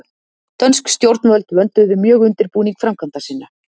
dönsk stjórnvöld vönduðu mjög undirbúning framkvæmda sinna